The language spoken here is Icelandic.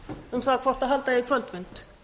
um það hvort halda eigi kvöldfund